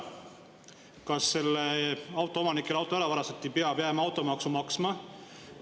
Kas see autoomanik, kelle auto ära varastati, peab jääma automaksu maksma?